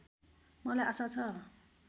मलाई आशा छ